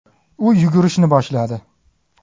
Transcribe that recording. U yugurishni boshladi.